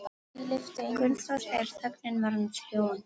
Gunnþór þegar þögnin var orðin þrúgandi.